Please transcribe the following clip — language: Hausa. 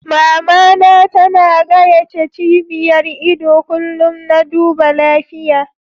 Mama na ta na gayace cibiyar ido kullum na duba lafiya.